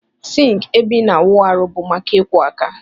Sink ebe ina awụ arụ bu maka ikwọ aka.